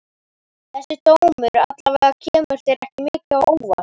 Þessi dómur alla vega kemur þér ekki mikið á óvart?